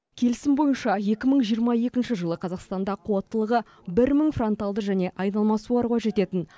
келісім бойынша екі мың жиырма екінші жылы қазақстанда қуаттылығы бір мың фронталды және айналма суаруға жететін